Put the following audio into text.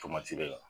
Tomati de la